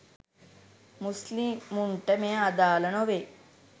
මුස්ලිමුන්ට මෙය අදාල නොවේ.